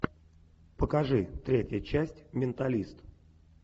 покажи третья часть менталист